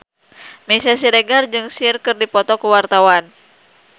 Meisya Siregar jeung Cher keur dipoto ku wartawan